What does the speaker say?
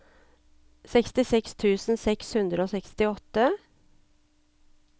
sekstiseks tusen seks hundre og sekstiåtte